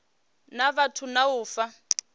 na vhathu na u fha